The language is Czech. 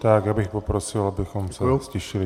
Já bych poprosil, abychom se ztišili.